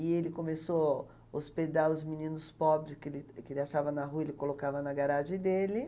E ele começou hospedar os meninos pobres que ele achava na rua, ele colocava na garagem dele.